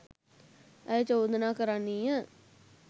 ඇය චෝදනා කරන්නීය